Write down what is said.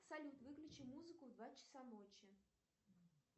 салют выключи музыку в два часа ночи